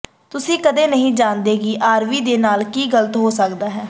ਤੁਸੀਂ ਕਦੇ ਨਹੀਂ ਜਾਣਦੇ ਕਿ ਆਰਵੀ ਦੇ ਨਾਲ ਕੀ ਗਲਤ ਹੋ ਸਕਦਾ ਹੈ